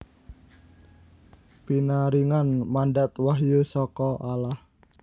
Pinaringan mandat wahyu saka Allah